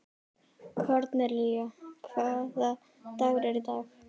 Kornelía, hvaða dagur er í dag?